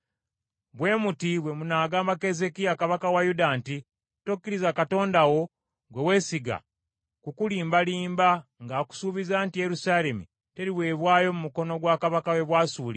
“Bwe muti bwe munagamba Keezeekiya kabaka wa Yuda nti, ‘Tokkiriza Katonda wo gwe weesiga kukulimbalimba ng’akusuubiza nti Yerusaalemi teriweebwayo mu mukono gwa kabaka w’e Bwasuli.’